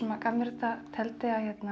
gaf mér þetta teldi að